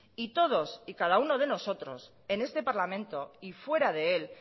y todos y cada uno de nosotros en este parlamento y fuera de él